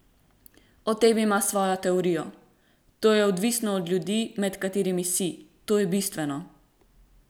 O tem ima svojo teorijo: 'To je odvisno od ljudi, med katerimi si, to je bistveno.